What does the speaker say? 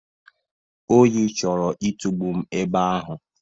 Oyi chọrọ itugbu m ebe ahụ.